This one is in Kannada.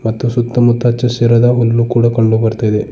ಮತ್ತು ಸುತ್ತ ಮುತ್ತ ಚಸ್ಸಿರದವನ್ನು ಕೂಡ ಕಂಡು ಬರ್ತಾ ಇದೆ.